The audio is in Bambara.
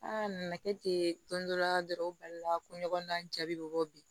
a nana kɛ ten don dɔ la dɔrɔn u balila ko ɲɔgɔn na jaabi bɛ bɔ bi